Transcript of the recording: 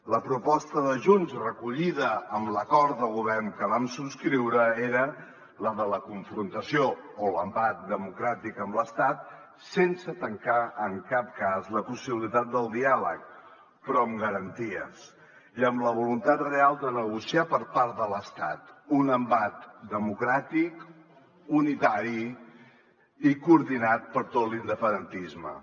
la proposta de junts recollida en l’acord de govern que vam subscriure era la de la confrontació o l’embat democràtic amb l’estat sense tancar en cap cas la possibilitat del diàleg però amb garanties i amb la voluntat real de negociar per part de l’estat un embat democràtic unitari i coordinat per tot l’independentisme